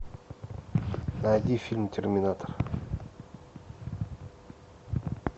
найди фильм терминатор